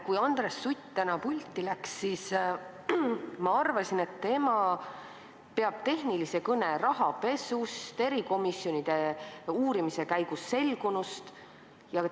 Kui Andres Sutt täna pulti läks, siis ma arvasin, et tema peab tehnilise kõne rahapesust, erikomisjonide korraldatud uurimise käigus selgunust.